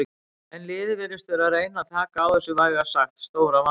En liðið virðist vera að reyna taka á þessu vægast sagt stóra vandamáli.